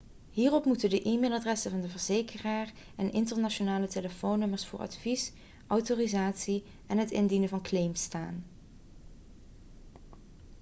hierop moeten de e-mailadressen van de verzekeraar en internationale telefoonnummers voor advies/autorisatie en het indienen van claims staan